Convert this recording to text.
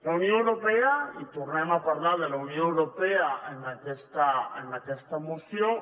la unió europea i tornem a parlar de la unió europea en aquesta moció